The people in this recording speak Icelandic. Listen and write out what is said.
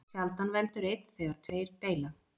Sjaldan veldur einn þegar tveir deila.